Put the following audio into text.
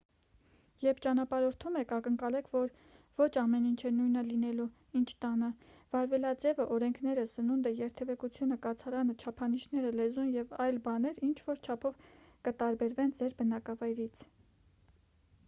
երբ ճանապարհորդում եք ակնկալեք որ ոչ ամեն ինչ է նույնը լինելու ինչ տանը վարվելաձևը օրենքները սնունդը երթևեկությունը կացարանը չափանիշները լեզուն և այլ բաներ ինչ-որ չափով կտարբերվեն ձեր բնակավայրից